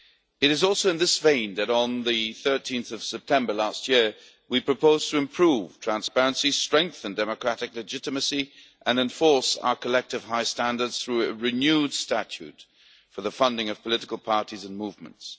It is in this vein that on 13 September last year we proposed to improve transparency, strengthen democratic legitimacy and enforce our collective high standards through a renewed statute for the funding of political parties and movements.